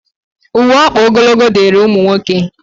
Uwe ọkpa ogologo dịịrị ụmụ nwoke